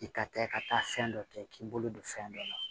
I ka kɛ ka taa fɛn dɔ kɛ k'i bolo don fɛn dɔ la